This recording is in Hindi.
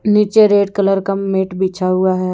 नीचे रेड कलर का मैट बिछा हुआ है।